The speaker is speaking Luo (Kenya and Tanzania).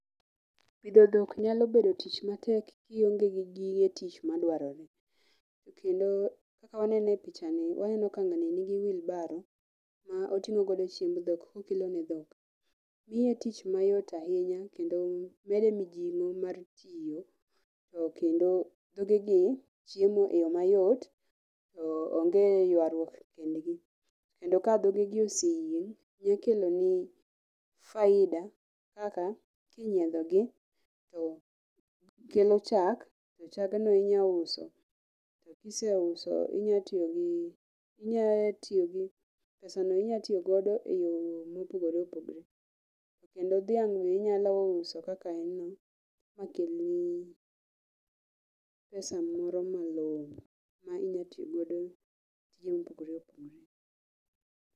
Pidho dhok nyalo bedo tich matek kionge gi gige tich madwarore, kendo kakawanene e pichani waneno ka ng'ani nigi wheelbarrow ma oting'o godo chiemb dhok kokelo ne dhok miye tich mayot ahinya kendo mede mijing'o mar tiyo kendo dhogegi chiemo eyo mayot onge ywaruok ekindgi kendo ka dhogegi oseyieng' nyakeloni faida kaka, kinyiedhogi to kelo chak to chagno inyauso to kiseuso pesano inyatiogodo eyo mopogore opogore, kendo dhiang, be inyalo uso kaka eno makelni pesa moro malong'o ma inyatiogodo tije mopogore opogore.